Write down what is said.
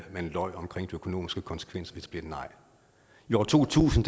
løj om de økonomiske konsekvenser ved et nej i år to tusind